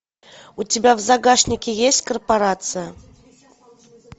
у тебя в загашнике есть корпорация